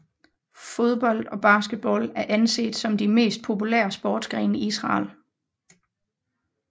Fodbold og basketball er anset som de mest populære sportsgrene i Israel